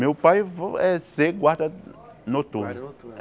Meu pai vo é ser guarda noturno. Guarda noturno